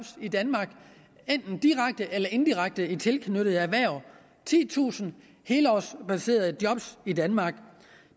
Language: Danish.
i danmark enten direkte eller indirekte i tilknyttede erhverv titusind helårsbaserede job i danmark